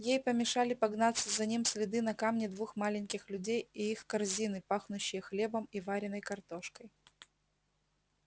ей помешали погнаться за ним следы на камне двух маленьких людей и их корзины пахнущие хлебом и вареной картошкой